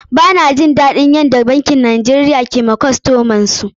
Ba na jin daɗin yadda bankuna a Najeriya ke yi wa kostomin su.